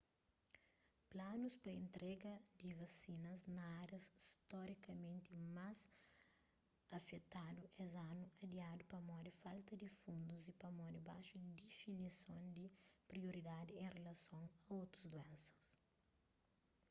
planus pa entrega di vasinas na árias storikamenti más afetadu es anu adiadu pamodi falta di fundus y pamodi baxu difinison di prioridadi en rilason a otus duénsa